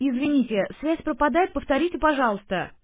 извините связь пропадает повторите пожалуйста